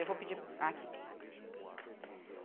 Eu vou pedir aqui.